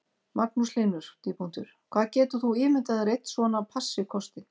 Magnús Hlynur: Hvað getur þú ímyndað þér að einn svona passi kosti?